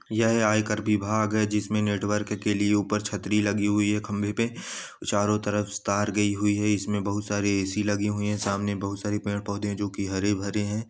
यह आयकर विभाग है जिसमें नेटवर्क के लिए ऊपर छतरी लगी हुई है खंबे पे चारों तरफ तार गई हुई है इसमें बहुत सारे ए.सी. लगी हुई हैं सामने बहुत सारे पेड़-पौधे हैं जो की हरे-भरे हैं।